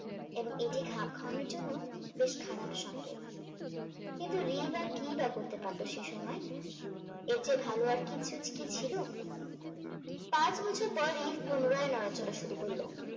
এবং এটি খাপ খাওয়ানোর জন্য বেশ খারাপ সংকেত। কিন্তু আর কি বা করতে পারত সে সময়। এর চেয়ে ভালো আর কিছু কি ছিল? পাঁচ বছর পর পুনরায় নাড়াচাড়া শুরু করলো।